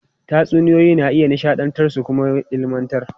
Tatsuniyoyi na iya nishadantar su kuma ilmantar.